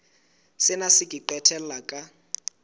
sena se ka qetella ka